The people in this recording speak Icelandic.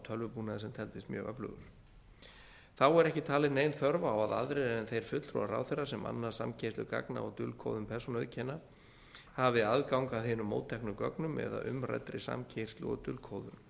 tölvubúnaði sem teldist mjög öflugur þá er ekki talið nein þörf á að aðrir en þeir fulltrúar ráðherra sem annast samkeyrslu gagna og dulkóðun persónueinkenna hafi aðgang að hinum mótteknu gögnum eða umræddri samkeyrðu og dulkóðun